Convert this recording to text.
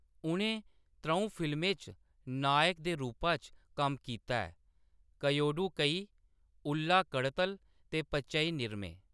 उʼनें त्र'ऊं फिल्में च नायक दे रूपा च कम्म कीता ऐ : कयोडू कई, उल्ला कड़तल ते पचई निरमे।